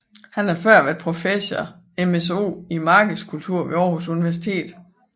Han har tidligere været professor MSO i markedskultur ved Aarhus Universitet